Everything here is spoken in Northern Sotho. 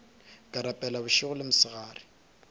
ke rapela bošego le mosegare